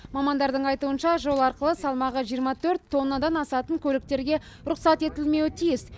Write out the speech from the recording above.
мамандардың айтуынша жол арқылы салмағы жиырма төрт тоннадан асатын көліктерге рұқсат етілмеуі тиіс